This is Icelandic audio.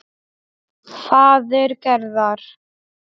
Faðir Gerðar.